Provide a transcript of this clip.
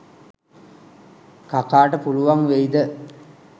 කකාට පුළුවන් වෙයිද?